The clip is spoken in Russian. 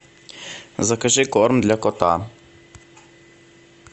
закажи корм для кота